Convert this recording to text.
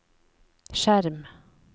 skjerm